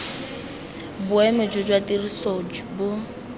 boemo jo jwa tiriso bo